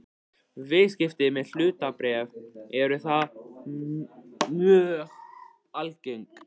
Viðskipti með hlutabréf eru þar mjög algeng.